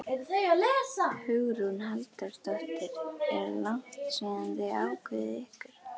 Hugrún Halldórsdóttir: Er langt síðan þið ákváðuð ykkur?